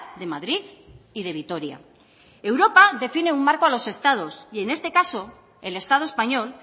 de madrid y de vitoria europa define un marco a los estados y en este caso el estado español